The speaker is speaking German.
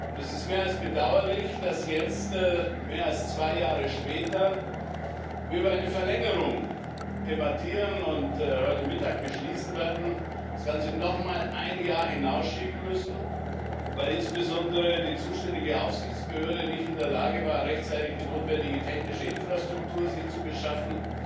Es ist mehr als bedauerlich, dass wir jetzt mehr als zwei Jahre später über eine Verlängerung debattieren und heute Mittag beschließen werden, das Ganze noch einmal ein Jahr hinauszuschieben, weil insbesondere die zuständige Aufsichtsbehörde nicht in der Lage war, sich rechtzeitig die notwendige technische Infrastruktur zu beschaffen,